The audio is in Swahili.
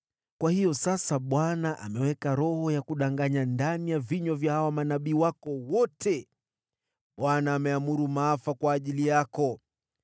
“Kwa hiyo sasa Bwana ameweka roho ya kudanganya ndani ya vinywa vya hawa manabii wako wote. Bwana ameamuru maafa kwa ajili yako.”